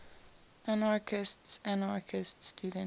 anarchistes anarchist student